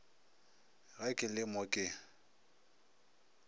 ge ke le mo ke